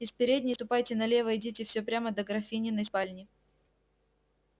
из передней ступайте налево идите всё прямо до графининой спальни